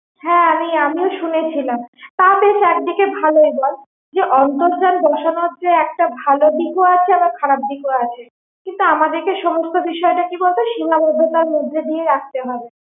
হ্যাঁ আমি আমিও শুনেছিলাম তা বেশ একদিকে ভালোই বল যে অন্তর্জাল বসানোর যে একটা ভালো দিক ও আছে আবার খারাপ দিক ও আছে কিন্তু আমাদের কে সমস্ত বিষয় তা কি বলতো সীমাবদ্ধতার মধ্যে দিয়ে রাখতে হবে